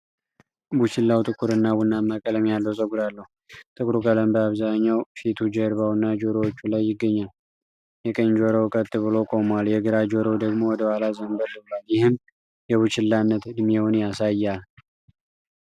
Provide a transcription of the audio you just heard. ቡችላው ጥቁር እና ቡናማ ቀለም ያለው ፀጉር አለው። ጥቁሩ ቀለም በአብዛኛው ፊቱ፣ ጀርባውና ጆሮዎቹ ላይ ይገኛል። የቀኝ ጆሮው ቀጥ ብሎ ቆሟል፤ የግራ ጆሮው ደግሞ ወደ ኋላ ዘንበል ብሏል፣ ይህም የቡችላነት ዕድሜውን ያሳያል።